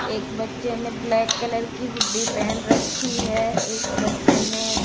एक बच्चे ने ब्लैक कलर की हुडी पेहेन रखी है एक बच्चे ने --